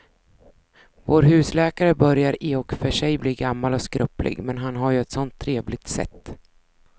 Vår husläkare börjar i och för sig bli gammal och skröplig, men han har ju ett sådant trevligt sätt!